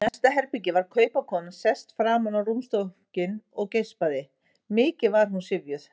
Í næsta herbergi var kaupakonan sest fram á rúmstokkinn og geispaði, mikið var hún syfjuð.